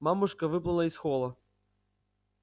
мамушка выплыла из холла